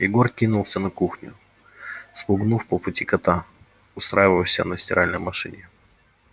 егор кинулся на кухню спугнув по пути кота устраивавшегося на стиральной машине